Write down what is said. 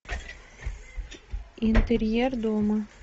интерьер дома